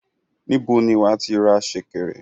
Níbo ni wàá tí ra sẹ̀kẹ̀rẹ̀?